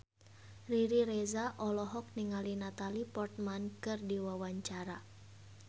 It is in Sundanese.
Riri Reza olohok ningali Natalie Portman keur diwawancara